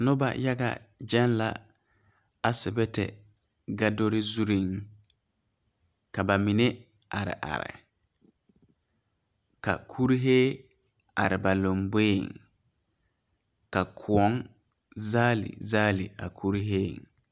Noba yaga geŋ la asibite godore zure ka ba mine are are ka kurɛɛ are ba lanboɛ ka kõɔ zaale zaale a kurɛɛ.